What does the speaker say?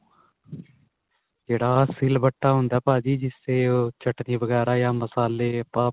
ਜਿਹੜਾ ਸਿਲਵੱਟਾ ਹੁੰਦਾ ਭਾਜੀ ਜਿਸ ਤੇ ਚਟਣੀ ਵਗੈਰਾ ਜਾਂ ਮਸਾਲੇ ਆਪਾਂ